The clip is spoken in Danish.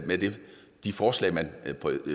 de forslag man